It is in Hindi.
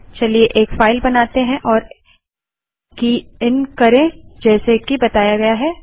चलिए एक फाइल बनाते हैं और की इन करें जैसे कि बताया गया है